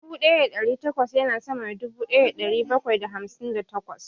Dubu ɗaya da ɗari takwas ya na sama da dubu ɗaya da ɗari bakwai da hamsin da takwas